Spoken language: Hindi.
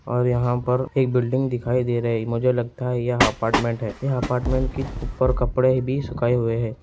और यहाँ पर एक बिल्डिंग दिखाई दे रही है मुझे लगता है यह अपार्टमेंट है यह अपार्टमेंट के ऊपर कपड़े भी सुखाए हुए हैं।